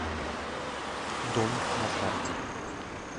дом на карте